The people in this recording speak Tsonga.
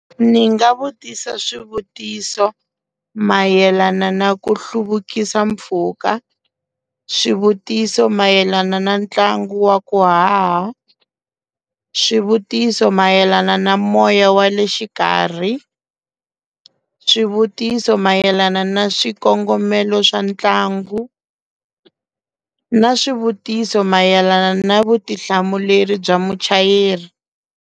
Ni nga vutisa swivutiso mayelana na ku hluvukisa mpfhuka swivutiso mayelana na ntlangu wa ku haha swivutiso mayelana na moya wa le xikarhi swivutiso mayelana na swikongomelo swa ntlangu na swivutiso mayelana na vutihlamuleri bya muchayeri.